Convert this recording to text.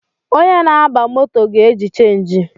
Onye na-aba moto ga-eji chenji